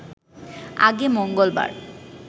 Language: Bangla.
আগে মঙ্গলবার